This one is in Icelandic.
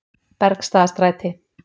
Bergstaðastræti